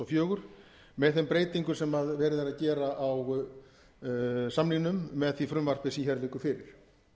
áttunda fimta tvö þúsund og fjögur með þeim breytingum sem verið er að gera á samningnum með því frumvarpi sem hér liggur fyrir